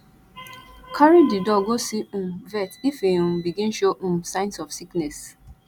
carry di dog go see um vet if in um begin show um signs of sickness